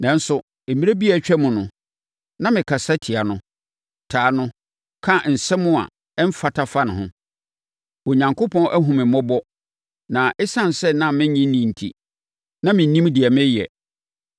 Nanso, mmerɛ bi a atwam no, na mekasa tia no, taa no, kaa nsɛm a ɛmfata faa ne ho. Onyankopɔn ahunu me mmɔbɔ na ɛsiane sɛ na mennye nni enti, na mennim deɛ mereyɛ.